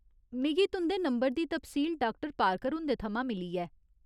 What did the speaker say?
मिगी तुं'दे नंबर दी तफसील डाक्टर पारकर हुंदे थमां मिली ऐ।